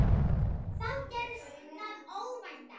Þá gerðist það óvænta.